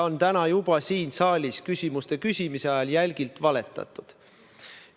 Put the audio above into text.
Ka täna on siin saalis küsimuste küsimise ajal jälgilt valetatud.